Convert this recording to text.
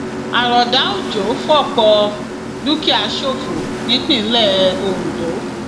àròdà òjò fọpọ dúkìá ṣòfò nípínlẹ ondo